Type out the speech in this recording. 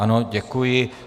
Ano, děkuji.